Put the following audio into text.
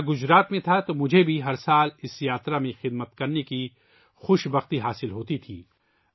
میں گجرات میں تھا، تو مجھے بھی ہر سال اس یاترا میں خدمت کرنے کی سعادت حاصل ہوتی تھی